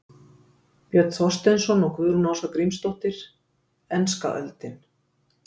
Björn Þorsteinsson og Guðrún Ása Grímsdóttir: Enska öldin